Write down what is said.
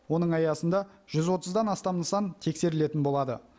оның аясында жүз отыздан астам нысан тексерілетін болады